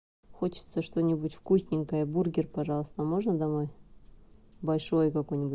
хочется что нибудь вкусненькое бургер пожалуйста можно домой большой какой нибудь